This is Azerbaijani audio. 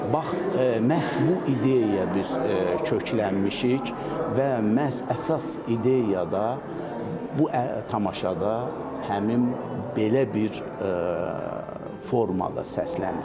Bax, məhz bu ideyaya biz köklənmişik və məhz əsas ideya da bu tamaşada həmin belə bir formada səslənir.